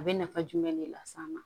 A bɛ nafa jumɛn de lase an ma